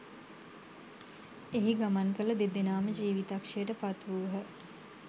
එහි ගමන් කළදෙනාම ජීවිතක්‍ෂයට පත්වූහ